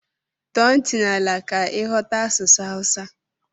Tọọ ntị n'ala ka ighọta asụsụ Awusa.